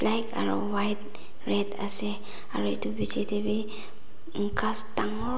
black aro white red ase aru itu phichetey wi ghas dangor.